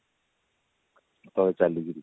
ତଳେ ଚାଲିକିରି